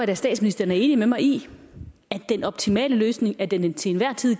at statsministeren er enig med mig i at den optimale løsning af den til enhver tid